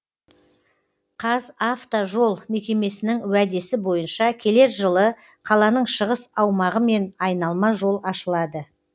қазавтожол мекемесінің уәдесі бойынша келер жылы қаланың шығыс аумағымен айналма жол ашылады